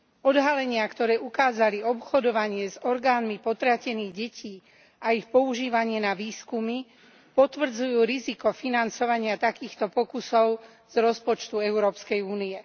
Odhalenia, ktoré ukázali obchodovanie s orgánmi potratených detí a ich používanie na výskumy, potvrdzujú riziko financovania takýchto pokusov z rozpočtu Európskej únie.